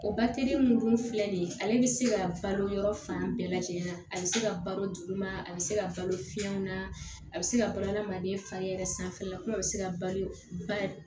O batere mun dun filɛ nin ye ale bɛ se ka balo yɔrɔ fan bɛɛ lajɛlen na a bɛ se ka baloma a bɛ se ka balo fiɲɛ na a bɛ se ka balo hadamaden fa yɛrɛ sanfɛla la kuma bɛ se ka balo ba